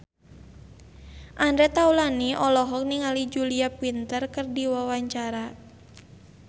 Andre Taulany olohok ningali Julia Winter keur diwawancara